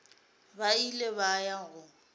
ba ile ba ya go